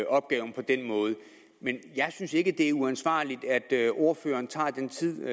opgaven på den måde men jeg synes ikke det er uansvarligt at ordføreren tager den tid